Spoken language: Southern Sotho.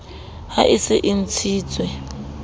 ha e se e ntshitswe